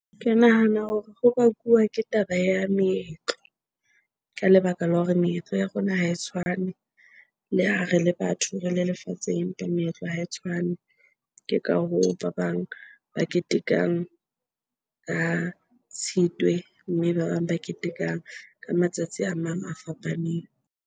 Ke nahana hore ho bakuwa ke taba ya meetlo. Ka lebaka la hore meetlo ya rona ha e tshwane, le ha re le batho, re le lefatsheng empa meetlo ha e tshwane. Ke ka hoo, ba bang ba ketekang ka Tshitwe mme ba bang ba ketekang ka matsatsi a mang a fapaneng.